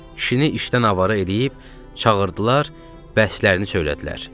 Kişini işdən avara eləyib çağırdılar, bəhslərini söylədilər.